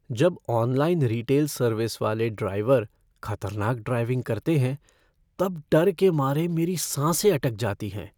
जब online retail service वाले driver खतरनाक ड्राइविंग करते हैं तब डर के मारे मेरी साँसें अटक जाती हैं।